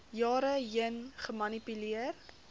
jare heen gemanipuleer